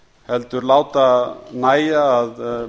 heldur láta nægja að